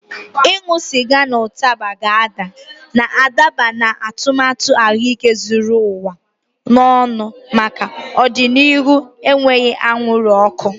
Ịṅụ sịga na ụtaba ga-ada, na-adaba na atụmatụ ahụike zuru ụwa ọnụ maka ọdịnihu enweghị anwụrụ ọkụ.